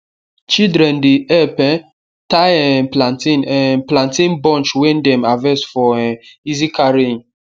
children dey help um tie um plantain um plantain bunch wey dem harvest for um easy carrying